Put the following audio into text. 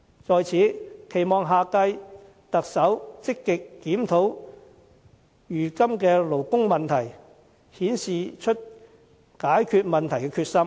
在此，我期望下屆特首積極檢討如今的勞工問題，顯示出解決問題的決心。